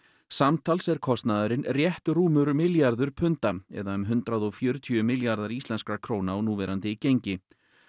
samtals er kostnaðurinn rétt rúmur milljarður punda eða um hundrað og fjörutíu milljarðar íslenskra króna á núverandi gengi